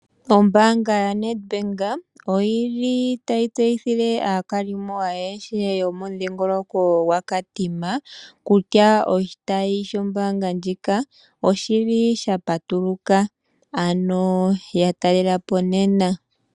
Ombaanga yoNedBank oyili tayi tseyithile aakalimo ayehe momudhingoloko gwaKatima kutya oshitayi shombaanga ndjika oshili shapatuluka ano yatalelapo nena.